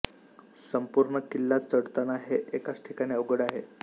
संपूर्ण किल्ला चढताना हे एकाच ठिकाण अवघड आहे